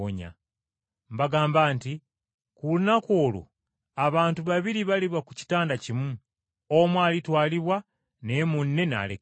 Mbagamba nti ku lunaku olwo abantu babiri baliba ku kitanda kimu, Omu alitwalibwa naye munne n’alekebwa.